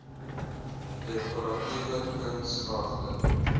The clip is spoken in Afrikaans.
dekoratiewe kuns grafte